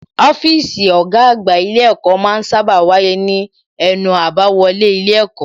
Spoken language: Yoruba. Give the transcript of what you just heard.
Ọ́fíìsì ọ̀gá àgbà ilé ẹ̀kọ́ ma ń sábà wà ní ẹnu àbáwọlé ilé ẹ̀kọ́